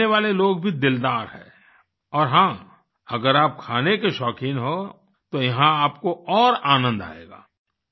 यहाँ रहने वाले लोग भी दिलदार हैं और हाँ अगर आप खाने के शौक़ीन हो तो यहाँ आपको और आनंद आएगा